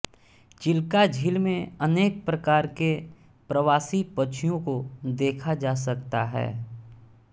चिल्का झील में अनेक प्रकार के प्रवासी पक्षियों को देखा जा सकता है